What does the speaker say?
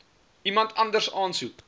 iemand anders aansoek